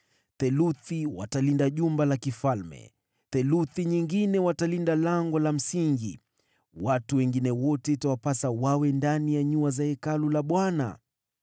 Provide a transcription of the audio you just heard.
theluthi yenu mtalinda jumba la kifalme, na theluthi nyingine mtalinda Lango la Msingi. Walinzi wengine wote mwe ndani ya nyua za Hekalu la Bwana .